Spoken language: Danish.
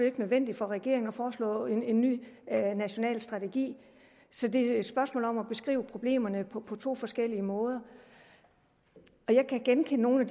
ikke nødvendigt for regeringen at foreslå en ny national strategi så det er et spørgsmål om at beskrive problemerne på på to forskellige måder jeg kan genkende nogle